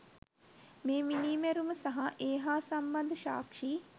මේ මිනී මැරුම සහ ඒ හා සම්බන්ධ සාක්ෂි